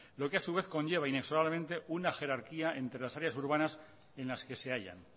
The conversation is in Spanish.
lo que a su vez conlleva inexorablemente una jerarquía entre las áreas urbanas en las que se hayan